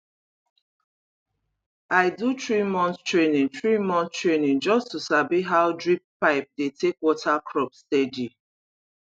i do threemonth training threemonth training just to sabi how drip pipe dey take water crop steady